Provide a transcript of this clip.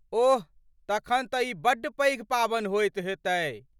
ओह, तखन तऽ ई बड्ड पैघ पावनि होयत हेतय।